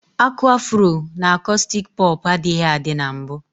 Aku afuro na akostik popu adịghị adị na mbu.